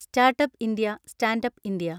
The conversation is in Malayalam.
startup India, standup India